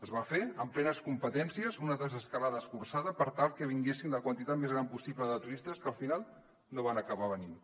es va fer amb plenes competències una desescalada escurçada per tal que vingués la quantitat més gran possible de turistes que al final no van acabar venint